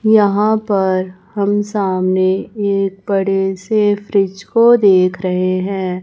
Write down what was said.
यहां पर हम सामने एक बड़े से फ्रिज को देख रहे हैं।